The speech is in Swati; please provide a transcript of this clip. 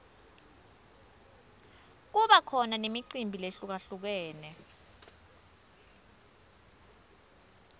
kuba khona nemicimbi lehlukalhlukene